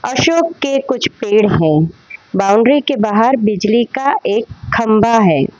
अशोक के कुछ पेड़ हैं बाउंड्री के बाहर बिजली का एक खंभा है।